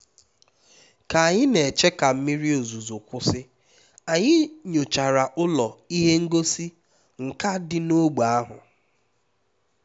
ka anyị na-eche ka mmiri ozuzo kwụsị anyị nyochara ụlọ ihe ngosi nka dị n'ógbè ahụ